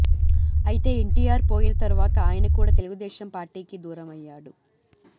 అయితే ఎన్టీఆర్ పోయిన తర్వాత ఆయన కూడా తెలుగు దేశం పార్టీకి దూరం అయ్యాడు